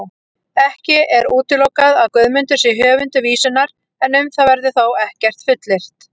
Ekki er útilokað að Guðmundur sé höfundur vísunnar, en um það verður þó ekkert fullyrt.